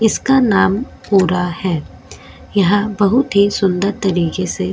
इसका नाम पूरा है यह बहुत ही सुंदर तरीके से --